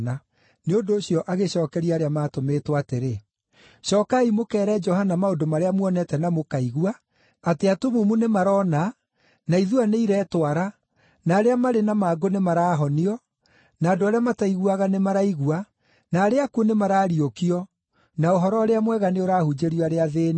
Nĩ ũndũ ũcio agĩcookeria arĩa maatũmĩtwo atĩrĩ, “Cookai mũkeere Johana maũndũ marĩa muonete na mũkaigua: atĩ atumumu nĩ marona, na ithua nĩiretwara, na arĩa marĩ na mangũ nĩ marahonio, na andũ arĩa mataiguaga nĩmaraigua, na arĩa akuũ nĩmarariũkio, na Ũhoro-ũrĩa-Mwega nĩũrahunjĩrio arĩa athĩĩni.